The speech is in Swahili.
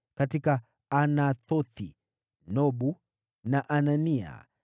katika Anathothi, Nobu na Anania,